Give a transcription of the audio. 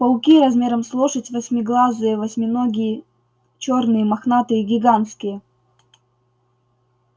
пауки размером с лошадь восьмиглазые восьминогие чёрные мохнатые гигантские